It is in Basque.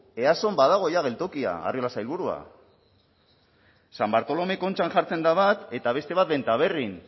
eason badago ja geltokia arriola sailburua san bartolome kontxan jartzen da bat eta beste bat bentaberrin